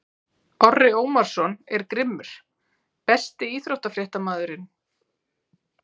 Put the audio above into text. Orri Ómarsson er grimmur Besti íþróttafréttamaðurinn?